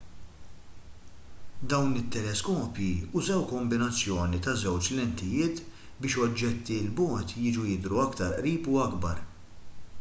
dawn it-teleskopji użaw kombinazzjoni ta' żewġ lentijiet biex oġġetti l bogħod jiġu jidhru aktar qrib u akbar